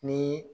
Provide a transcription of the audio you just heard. Ni